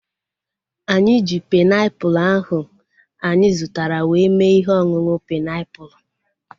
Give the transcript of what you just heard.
Anyị ji painiapulu ahu anyị zụtara were mee ihe ọṅụṅụ painiapulu